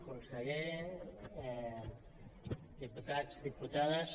conseller diputats diputades